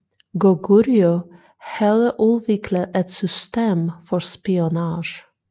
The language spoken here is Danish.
Goguryeo havde udviklet et system for spionage